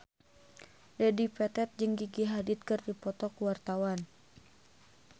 Dedi Petet jeung Gigi Hadid keur dipoto ku wartawan